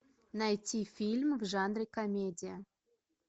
найти фильм в жанре комедия